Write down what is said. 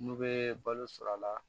N'u bɛ balo sɔrɔ a la